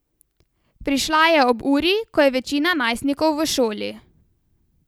Prišla je ob uri, ko je večina najstnikov v šoli.